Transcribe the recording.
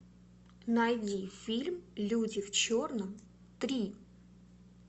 найди фильм люди в черном три